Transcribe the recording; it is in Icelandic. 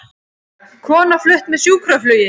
Kona flutt með sjúkraflugi